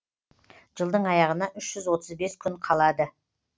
жылдың аяғына үш жүз отыз бес күн қалады